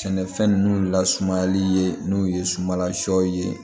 Sɛnɛfɛn ninnu lasumayali ye n'o ye sumala sɔ ye